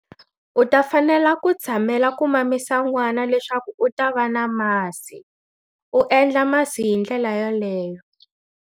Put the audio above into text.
U ta fanela ku tshamela ku mamisa n'wana leswaku u ta va na masi, u endla masi hi ndlela yoleyo.